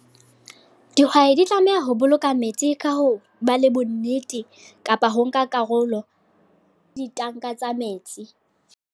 Dihwai di tlameha ho boloka metsi ka ho ba le bonnete. Kapa ho nka karolo, ditanka tsa metsi.